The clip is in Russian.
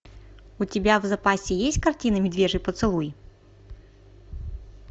у тебя в запасе есть картина медвежий поцелуй